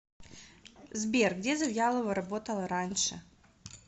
сбер где завьялова работала раньше